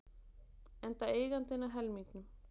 Enda eigandinn að helmingnum.